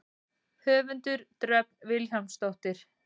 Höfundur: Dröfn Vilhjálmsdóttir.